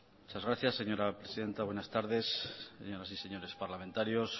muchas gracias señora presidenta buenas tardes señoras y señores parlamentarios